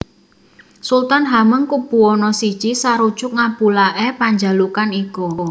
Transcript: Sultan Hamengkubuwana I sarujuk ngabulaké panjalukan iku